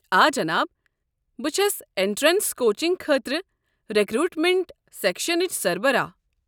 آ جناب، بہٕ چھس اٮ۪نٹرٛنس کوچنٛگ خٲطرٕ رٮ۪کروٗٹمنٛٹ سٮ۪کشنٕچ سربراہ۔